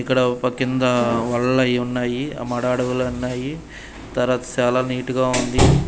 ఇక్కడ ఒక కింద ఉన్నాయి ఆ మడ అడువులున్నాయి తర్వాత చాలా నీట్ గా ఉంది.